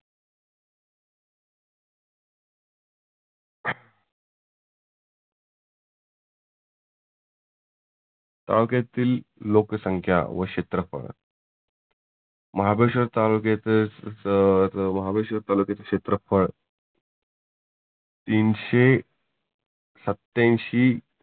तालुक्यातील लोकसंख्या व क्षेत्रफळ महाबळेश्वर तालुक्यातच सब महाबळेश्वर ताल्यक्याचे क्षेत्रफळ तीनशे सत्त्यांशी